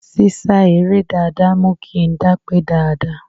sísá eré dáadáa mú kí ń dápé dáadáa